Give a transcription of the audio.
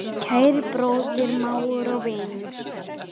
Kæri bróðir, mágur og vinur.